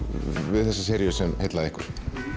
við þessa seríu sem heillaði ykkur